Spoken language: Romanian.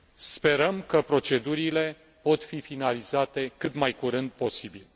Sperăm că procedurile pot fi finalizate cât mai curând posibil.